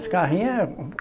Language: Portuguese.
Os carrinhos é